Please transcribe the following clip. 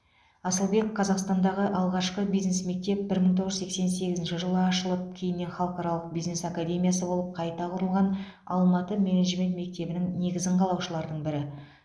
асылбек қазақстандағы алғашқы бизнес мектеп бір мың тоғыз жүз сексен сегізінші жылы ашылып кейіннен халықаралық бизнес академиясы болып қайта құрылған алматы менеджмент мектебінің негізін қалаушылардың бірі